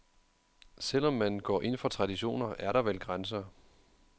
Selv om man går ind for traditioner, er der vel grænser.